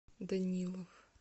данилов